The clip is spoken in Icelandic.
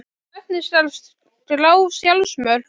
Hvernig skal skrá sjálfsmörk?